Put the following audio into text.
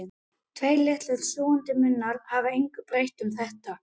Tveir litlir sjúgandi munnar hafa engu breytt um þetta.